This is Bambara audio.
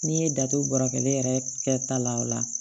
N'i ye da to bɔrɔ kelen yɛrɛ kɛ ta la o la